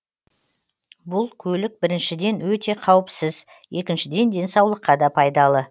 бұл көлік біріншіден өте қауіпсіз екіншіден денсаулыққа да пайдалы